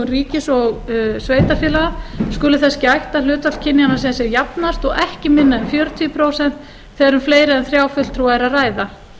ríkis og sveitarfélaga skuli þess gætt að hlutfall kynjanna sé sem jafnast og ekki minna en fjörutíu prósent þegar um fleiri en þrjá fulltrúa er að ræða